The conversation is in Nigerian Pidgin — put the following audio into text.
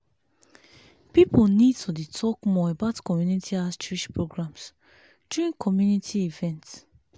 people need to dey talk more about community outreach programs during community events.